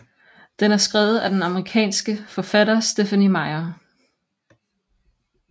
Den er skrevet af den amerikanske forfatter Stephenie Meyer